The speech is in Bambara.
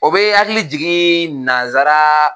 O be n hakili jigin nansara